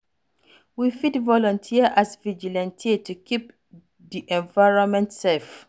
We fit volunteer as vigilante to fit keep di environment safe